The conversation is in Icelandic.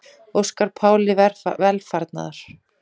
Óska Páli velfarnaðar